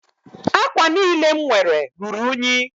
Ákwà niile m nwere ruru únyí